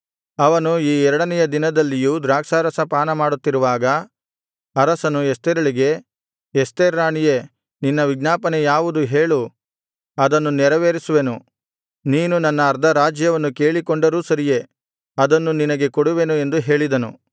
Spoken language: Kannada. ಅವನು ಈ ಎರಡನೆಯ ದಿನದಲ್ಲಿಯೂ ದ್ರಾಕ್ಷಾರಸ ಪಾನಮಾಡುತ್ತಿರುವಾಗ ಅರಸನು ಎಸ್ತೇರಳಿಗೆ ಎಸ್ತೇರ್ ರಾಣಿಯೇ ನಿನ್ನ ವಿಜ್ಞಾಪನೆ ಯಾವುದು ಹೇಳು ಅದನ್ನು ನೆರವೇರಿಸುವೆನು ನೀನು ನನ್ನ ಅರ್ಧರಾಜ್ಯವನ್ನು ಕೇಳಿಕೊಂಡರೂ ಸರಿಯೇ ಅದನ್ನು ನಿನಗೆ ಕೊಡುವೆನು ಎಂದು ಹೇಳಿದನು